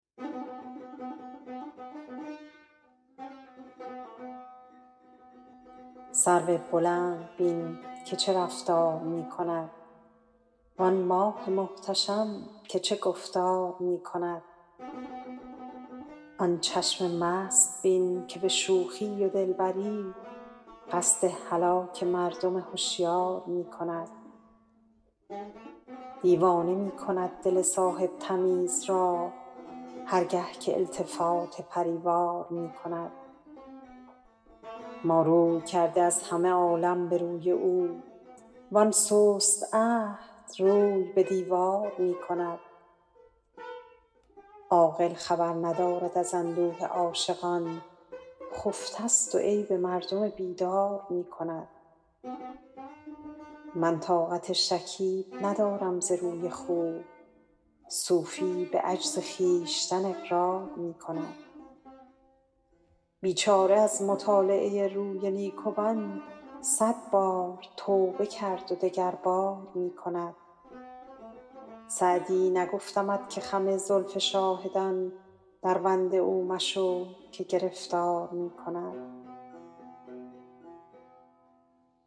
سرو بلند بین که چه رفتار می کند وآن ماه محتشم که چه گفتار می کند آن چشم مست بین که به شوخی و دلبری قصد هلاک مردم هشیار می کند دیوانه می کند دل صاحب تمیز را هر گه که التفات پری وار می کند ما روی کرده از همه عالم به روی او وآن سست عهد روی به دیوار می کند عاقل خبر ندارد از اندوه عاشقان خفته ست و عیب مردم بیدار می کند من طاقت شکیب ندارم ز روی خوب صوفی به عجز خویشتن اقرار می کند بیچاره از مطالعه روی نیکوان صد بار توبه کرد و دگربار می کند سعدی نگفتمت که خم زلف شاهدان دربند او مشو که گرفتار می کند